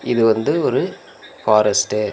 இது வந்து ஒரு ஃபாரஸ்ட்டு .